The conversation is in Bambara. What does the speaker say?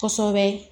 Kosɛbɛ